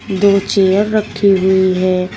दो चेयर रखी हुई है।